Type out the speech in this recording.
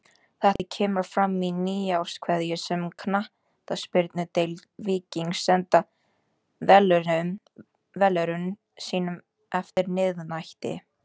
Þetta kemur fram í nýárskveðju sem Knattspyrnudeild Víkings sendi velunnurum sínum eftir miðnætti.